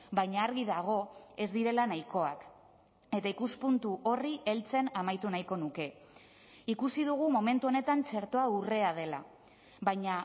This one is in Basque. baina argi dago ez direla nahikoak eta ikuspuntu horri heltzen amaitu nahiko nuke ikusi dugu momentu honetan txertoa urrea dela baina